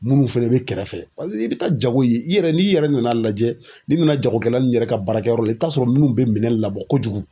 Munnu fɛnɛ be kɛrɛfɛ, paseke i be taa jago ye i yɛrɛ n'i yɛrɛ nana lajɛ, n'i be na jagokɛla nunnu yɛrɛ ka baarakɛyɔrɔ la i be t'a sɔrɔ munnu be minɛn labɔ kojugu